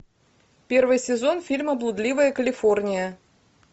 первый сезон фильма блудливая калифорния